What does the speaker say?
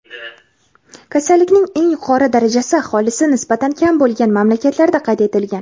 Kasallikning eng yuqori darajasi aholisi nisbatan kam bo‘lgan mamlakatlarda qayd etilgan.